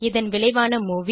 இதன் விளைவான மூவி